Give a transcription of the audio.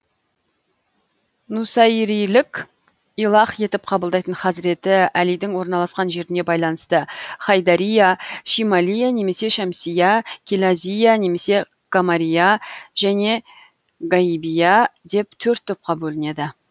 нусайрилік илах етіп қабылдайтын хазіреті әлидің орналасқан жеріне байланысты хайдария шималия немесе шамсия килазия немесе камария және гайбия деп төрт топқа бөлінеді